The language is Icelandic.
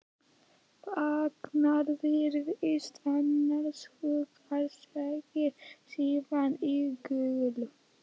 Þagnar, virðist annars hugar, segir síðan íhugul